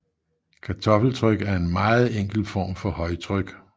Kartoffeltryk er en meget enkel form for højtryk